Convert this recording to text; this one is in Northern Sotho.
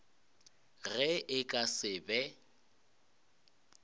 ge e ka se be